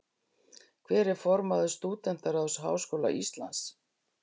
Hver er formaður Stúdentaráðs Háskóla Íslands?